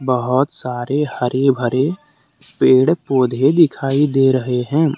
बहोत सारे हरे भरे पेड़ पौधे दिखाई दे रहे हैं।